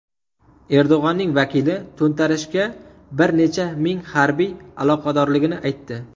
Erdo‘g‘onning vakili to‘ntarishga bir necha ming harbiy aloqadorligini aytdi.